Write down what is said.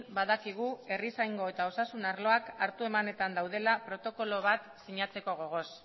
badakigu herrizaingo eta osasun arloak hartu emanetan daudela protokolo bat sinatzeko gogoz